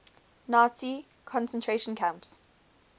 nazi concentration camps